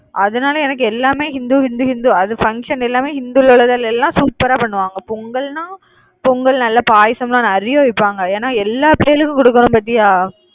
அதனால எனக்கு எல்லாமே இந்து இந்து இந்து. அது function எல்லாமே இந்துல உள்ளதுல எல்லாம் super ஆ பண்ணுவாங்க. பொங்கல்ன்னா பொங்கல் நல்லா பாயாசம் எல்லாம் நிறைய வைப்பாங்க. ஏன்னா எல்லா பிள்ளைகளுக்கும் கொடுக்கணும் பார்த்தியா?